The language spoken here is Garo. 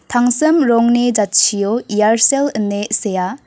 tangsim rongni jatchio iarsel ine sea.